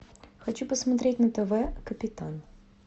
хочу посмотреть на тв капитан